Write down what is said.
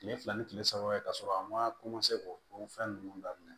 Kile fila ni kile saba ye ka sɔrɔ a ma ko o fɛn ninnu daminɛ